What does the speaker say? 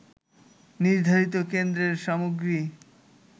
নির্ধারিত কেন্দ্রের সামগ্রী